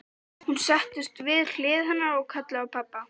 Hún settist við hlið hennar og kallaði á pabba.